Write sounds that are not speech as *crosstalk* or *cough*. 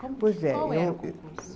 Pois é, eu. *unintelligible* Qual era o concurso?